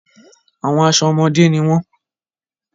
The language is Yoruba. Àwọn aṣọ ọmọde ni wọn.